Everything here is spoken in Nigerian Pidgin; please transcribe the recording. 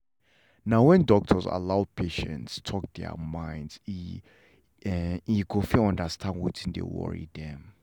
na when doctors allow patients talk their mind e e go fit understand wetin dey really worry them